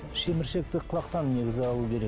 шеміршекті құлақтан негізі алу керек